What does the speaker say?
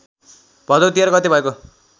भदौ १३ गते भएको